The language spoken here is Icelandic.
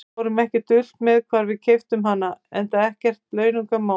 Við fórum ekkert dult með hvar við keyptum hana, enda ekkert launungarmál.